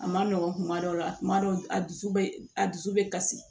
A ma nɔgɔn kuma dɔw la kuma dɔw a dusu be a dusu be kasi